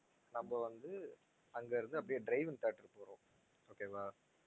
நம்ம வந்து அங்க இருந்து அப்படியே drive in theatre போறோம் okay வா